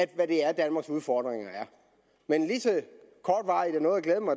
der er danmarks udfordringer men